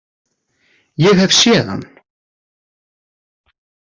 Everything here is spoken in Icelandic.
Ég hef séð hann.